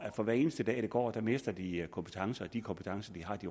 for hver eneste dag der går mister de kompetencer og de kompetencer de